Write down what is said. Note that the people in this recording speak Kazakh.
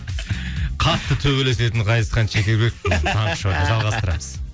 қатты төбелесетін ғазизхан шекербек таңғы шоуда жалғастырамыз